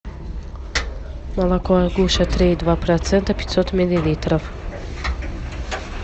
молоко агуша три и два процента пятьсот миллилитров